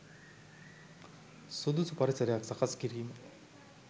සුදුසු පරිසරයක් සකස් කිරීම